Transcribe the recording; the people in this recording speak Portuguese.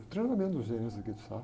O treinamento dos gerentes aqui do Safra.